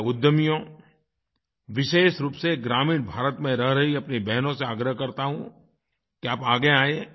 मैं उद्यमियों विशेष रूप से ग्रामीण भारत में रह रही अपनी बहनों से आग्रह करता हूँ कि आप आगे आयें